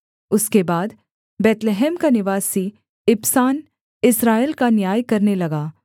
उसके बाद बैतलहम का निवासी इबसान इस्राएल का न्याय करने लगा